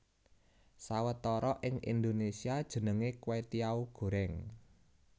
Sawetara ing Indonesia jenenge kwetiau goreng